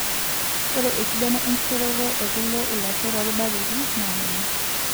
Ore esidano enkishoroto ekule ilashoo torbaketi naa kuna;